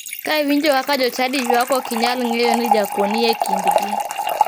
Ka iwinjo kaka jochadi ywak ok inyal ng'eyo ni jakuo ni e kindgi.